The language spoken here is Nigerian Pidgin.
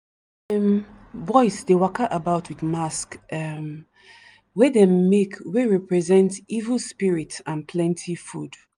dem um boys dey waka about with mask um wey dem make wey represent evil spirit and plenty food.